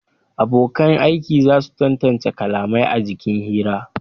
Abonkan aiki za su tantance kalamai a jikin hira